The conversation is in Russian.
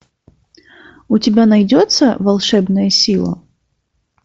у тебя найдется волшебная сила